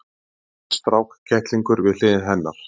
Hann strákkettlingur við hlið hennar!